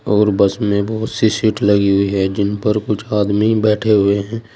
और बस में बहुत सी सीट लगी हुई है जिन पर कुछ आदमी बैठे हुए है।